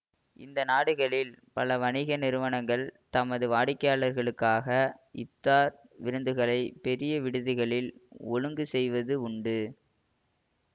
இந்த நாடுகளில் பல வணிக நிறுவனங்கள் தமது வாடிக்கையாளர்களுக்காக இப்தார் விருந்துகளைப் பெரிய விடுதிகளில் ஒழுங்கு செய்வது உண்டு